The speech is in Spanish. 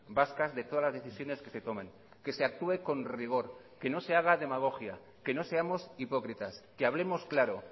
vascas de todas las decisiones que se tomen que se actúe con rigor que no se haga demagogia que no seamos hipócritas que hablemos claro